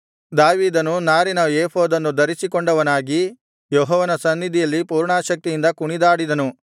ದಾವೀದನು ನಾರಿನ ಏಫೋದನ್ನು ಧರಿಸಿಕೊಂಡವನಾಗಿ ಯೆಹೋವನ ಸನ್ನಿಧಿಯಲ್ಲಿ ಪೂರ್ಣಾಸಕ್ತಿಯಿಂದ ಕುಣಿದಾಡಿದನು